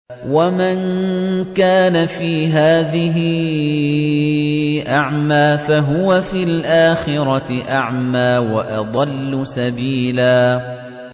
وَمَن كَانَ فِي هَٰذِهِ أَعْمَىٰ فَهُوَ فِي الْآخِرَةِ أَعْمَىٰ وَأَضَلُّ سَبِيلًا